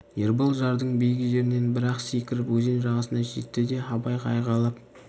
ербол жардың биік жерінен бір-ақ секіріп өзен жағасына жетті де абайға айғайлап